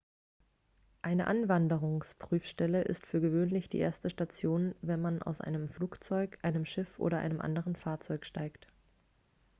eine einwanderungsprüfstelle ist für gewöhnlich die erste station wenn man aus einem flugzeug einem schiff oder einem anderen fahrzeug steigt